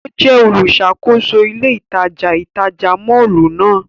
O jẹ oluṣakoso ile itaja itaja mọllu nàa.